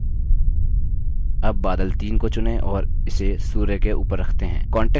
अब बादल 3 को चुनें और इसे सूर्य के ऊपर रखते हैं